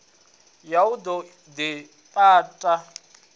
ya u ḓo ḽi tapa